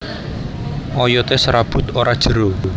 Oyoté serabut ora jero